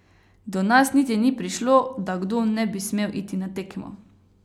Do nas niti ni prišlo, da kdo ne bi smel iti na tekmo.